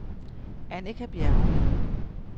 Annika Bjerrum